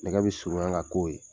Nɛgɛ be surunya ka k'o ye.